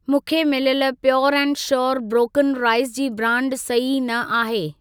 मूंखे मिलियल pure and sure broken rice जी ब्रांड सही न आहे।